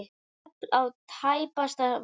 Teflt á tæpasta vað.